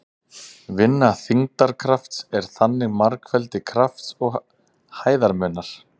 Vinna þyngdarkrafts er þannig margfeldi krafts og hæðarmunar.